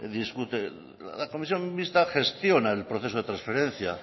discute la comisión mixta gestiona el proceso de transferencia